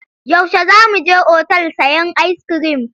Yaushe za mu je otal sayen ayiskirim?